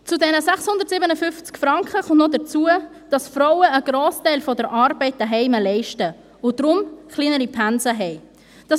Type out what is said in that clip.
Zu den 657 Franken kommt noch hinzu, dass Frauen einen Grossteil der Arbeit zu Hause leisten und deshalb kleinere Pensen haben.